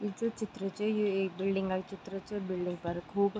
ये जू चित्र च यु एक बिल्डिंग क चित्र च बिल्डिंग पर खूब --